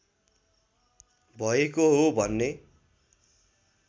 भएको हो भन्ने